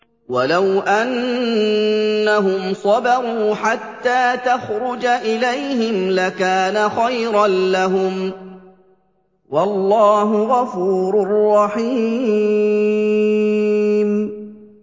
وَلَوْ أَنَّهُمْ صَبَرُوا حَتَّىٰ تَخْرُجَ إِلَيْهِمْ لَكَانَ خَيْرًا لَّهُمْ ۚ وَاللَّهُ غَفُورٌ رَّحِيمٌ